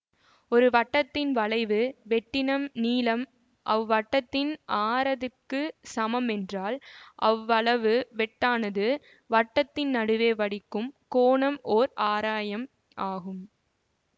ஒரு வட்டத்தின் வளைவு வெட்டினம் நீளம் அவ் வட்டத்தின் ஆரத்திற்கு சமம் என்றால் அவ் வளைவு வெட்டானது வட்டத்தின் நடுவே வடிக்கும் கோணம் ஓர் ஆராயம் ஆகும்